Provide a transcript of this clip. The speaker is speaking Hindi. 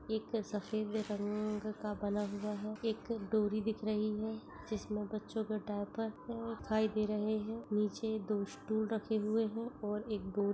एक सफेद रंग-- का बना हुवा है एक डोरी दिख रही है जिसमे बच्चो के डाइपर दिखाई दे रहे है निचे दो स्टूल रखे हुवे है और एक--